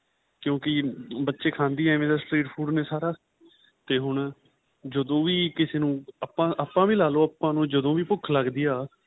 ਕਿਉਕੀ ਬੱਚੇ ਖਾਦੇਂ ਨੇ ਐਵੇ ਦਾ food ਨੇ ਸਾਰਾ ਤੇ ਹੁਣ ਜਦੋਂ ਵੀ ਕਿਸੇ ਨੂੰ ਆਪਾਂ ਆਪਾਂ ਵੀ ਲਾਲੋ ਆਪਾਂ ਨੂੰ ਜਦੋਂ ਭੁੱਖ ਲੱਗਦੀ ਆਂ